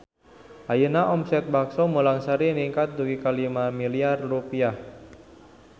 Ayeuna omset Bakso Mulang Sari ningkat dugi ka 5 miliar rupiah